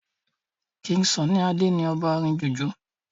king sunny Ade ní ọba orin jùjú